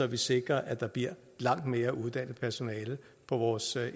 vi sikrer at der bliver langt mere uddannet personale på vores